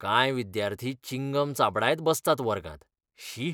कांय विद्यार्थी चिंगम चाबडायत बसतात वर्गांत. शी!